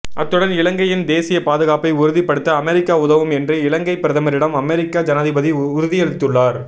அத்துடன் இலங்கையின் தேசிய பாதுகாப்பை உறுதிப்படுத்த அமெரிக்கா உதவும் என்று இலங்கைப் பிரதமரிடம் அமெரிக்க ஜனாதிபதி உறுதியளித்துள்ளார்